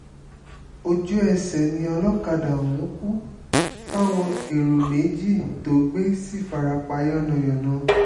ojú-ẹsẹ̀ ni olókàdá ọ̀hún kù táwọn èrò méjì tó gbé sì fara pa yánnayànna